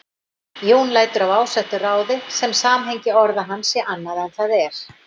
Jón lætur af ásettu ráði sem samhengi orða hans sé annað en það er.